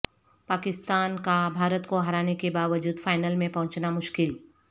پاکستان کا بھارت کو ہرانےکے باوجود فائنل میں پہنچنا مشکل